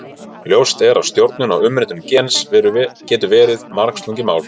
Ljóst er að stjórnun á umritun gens getur verið margslungið mál.